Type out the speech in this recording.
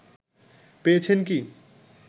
পেয়েছেন কি